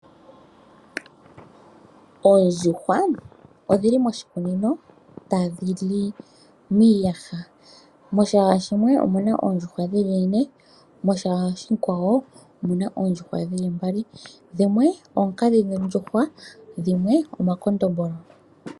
Oondjuhwa odhili moshikunino tadhi li miiyaha, moshiyaha shimwe omuna oondjuhwa dhili ne ,moshiyaha oshikwawo omuna oondjuhwa dhili mbali. Dhimwe oonkadhindjuhwa, dhimwe omakondombolo.